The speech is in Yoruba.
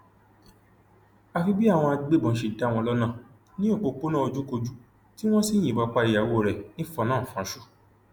àfi bí àwọn agbébọn ṣe dá wọn lọnà ní òpópónà ojúkòkú tí wọn sì yìnbọn pa ìyàwó rẹ nífọnàfọńsù